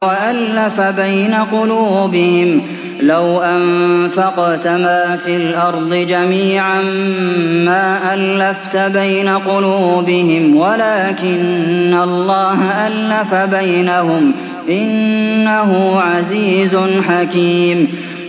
وَأَلَّفَ بَيْنَ قُلُوبِهِمْ ۚ لَوْ أَنفَقْتَ مَا فِي الْأَرْضِ جَمِيعًا مَّا أَلَّفْتَ بَيْنَ قُلُوبِهِمْ وَلَٰكِنَّ اللَّهَ أَلَّفَ بَيْنَهُمْ ۚ إِنَّهُ عَزِيزٌ حَكِيمٌ